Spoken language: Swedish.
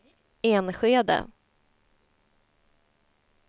Enskede